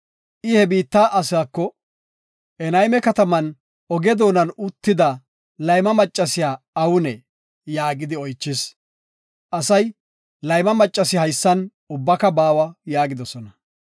I he biitta asaako, “Enayme kataman, oge doonan uttida layma maccasiya awunee?” yaagidi oychis. Asay, “Layma maccas haysan ubbaka baawa” yaagidosona.